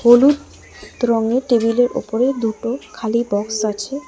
হলুদ রঙের টেবিল -এর উপরে দুটো খালি বক্স আছে।